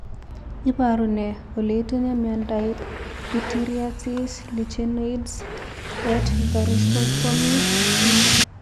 Iporu ne kole itinye miondap pityriasis lichenoides et varioliformis acuta?